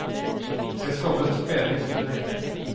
De skapade spänning så det räckte.